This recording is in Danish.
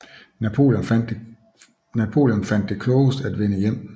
Napoleon fandt det klogest at vende hjem